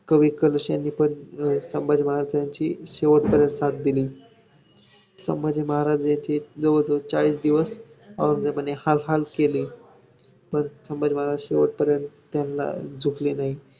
कवी कलश यांनी पण संभाजी महाराजांची शेवटपर्यंत साथ दिली. संभाजी महाराज यांचे जवळ - जवळ चाळीस दिवस औरंगजेबाने हाल - हाल केले, पण संभाजी महाराज शेवटपर्यंत त्यांना झुकले नाही.